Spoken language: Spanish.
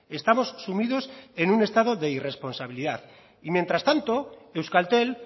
estamos sumidos en un estado de irresponsabilidad y mientras tanto euskaltel